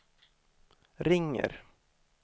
ringer